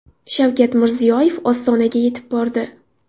Shavkat Mirziyoyev Ostonaga yetib bordi .